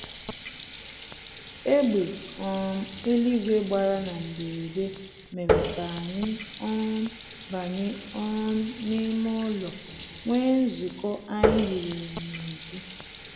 Egbe um eluigwe gbara na mberede mere k'anyị um banye um n'ime ụlọ nwee nzukọ anyị hiwere n'ezi